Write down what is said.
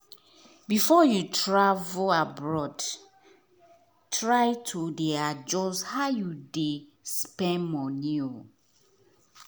before you travel abroad try to dey adjust how you dey spend money